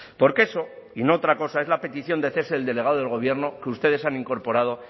porque eso y no otra cosa es la petición de cese del delegado del gobierno que ustedes han incorporado